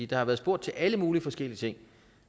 der har været spurgt til alle mulige forskellige ting